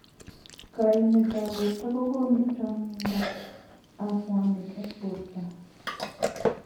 Kaimet ab borwek kokonu chong'ndo ab mwanik eng borto.